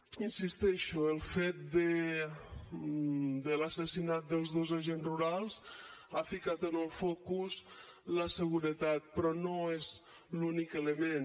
hi insisteixo el fet de l’assassinat dels dos agents rurals ha ficat en el focus la seguretat però no és l’únic element